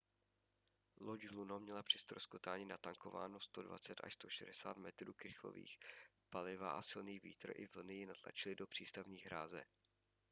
loď luno měla při ztroskotání natankováno 120-160 metrů krychlových paliva a silný vítr i vlny ji natlačily do přístavní hráze